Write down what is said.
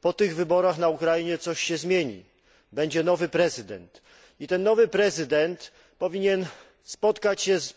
Po tych wyborach na Ukrainie coś się zmieni, będzie nowy prezydent i ten nowy prezydent powinien spotkać się z